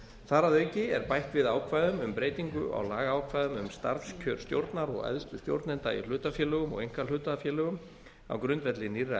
þar að auki er bætt við ákvæðum um breytingu á lagaákvæðum um starfskjör stjórnar og æðstu stjórnenda í hlutafélögum og einkahlutafélögum á grundvelli nýrra e